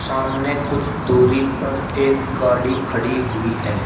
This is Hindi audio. सामने कुछ दूरी पर एक गाड़ी खड़ी हुई है।